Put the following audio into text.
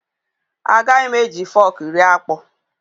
Agaghị m eji fọk rie akpụ.